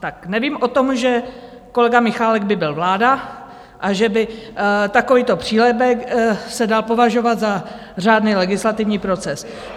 Tak nevím o tom, že kolega Michálek by byl vláda a že by takovýto přílepek se dal považovat za řádný legislativní proces.